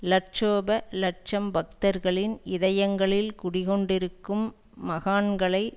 லட்சோப லட்சம் பக்தர்களின் இதயங்களில் குடிகொண்டிருக்கும் மகான்களை